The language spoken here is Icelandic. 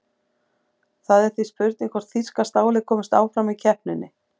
Það er því spurning hvort þýska stálið komist áfram í keppninni?